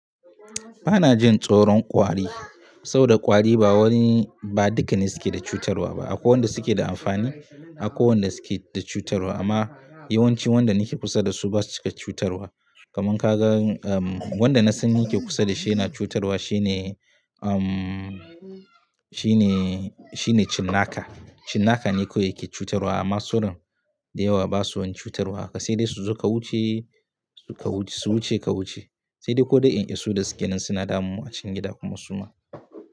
Ba na jin tsoron ƙwari, saboda ƙwari ba duka ne suke da cutarwa ba. Akwai wanda suke da amfani, akwai wanda suke da cutarwa. Amma yawanci wanda nike kusa da su basu cika cutarwa. Kaman ka gan, wanda na sani nake kusa da shi yana cutarwa shine, shine, shine cinnaka. Cinnaka ne kawai yake cutarwa. Amma sauran dayawa basu wani cutarwa. Sai dai su zo su wuce kawuce, su wuce kawuce. Sai dai ko dai in iso da su gidan sinadarmu a cikin gida kuma suma.